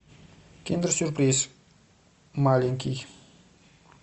киндер сюрприз маленький